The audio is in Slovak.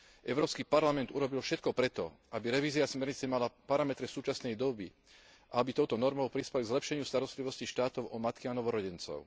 Európsky parlament urobil všetko preto, aby revízia smernice mala parametre súčasnej doby, aby touto normou prispel k zlepšeniu starostlivosti štátov o matky a novorodencov.